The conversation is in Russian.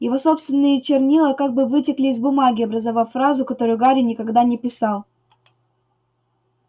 его собственные чернила как бы вытекли из бумаги образовав фразу которую гарри никогда не писал